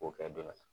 K'o kɛ dɔ wɛrɛ ye